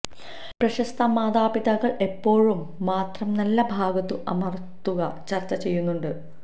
പ്രശസ്ത മാതാപിതാക്കൾ എപ്പോഴും മാത്രം നല്ല ഭാഗത്തു അമർത്തുക ചർച്ച ചെയ്യുന്നുണ്ട്